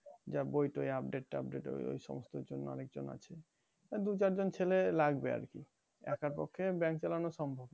যা বই টই update tubdate ওই সমস্তর জন্য আর একজন আছে বা দু চারজন ছেলে লাগবে আরকি একার পক্ষে bank চালানো সম্ভব না